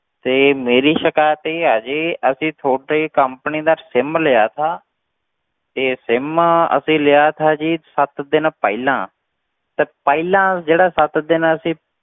ਤੇ ਮੇਰੀ ਸਿਕਾਇਤ ਇਹ ਆ ਜੀ ਅਸੀਂ ਤੁਹਾਡੀ company ਦਾ sim ਲਿਆ ਸੀ ਤੇ sim ਅਸੀਂ ਲਿਆ ਸੀ ਜੀ ਸੱਤ ਦਿਨ ਪਹਿਲਾਂ, ਤੇ ਪਹਿਲਾਂ ਜਿਹੜਾ ਸੱਤ ਦਿਨ ਅਸੀਂ